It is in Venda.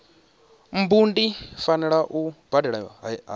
mbu ndi fanela u badela hani